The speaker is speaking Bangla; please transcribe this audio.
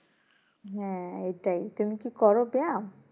হ্যাঁ এটাই টুং কি করো ব্যায়াম